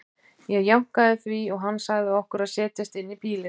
Ég jánkaði því og hann sagði okkur að setjast inn í bílinn.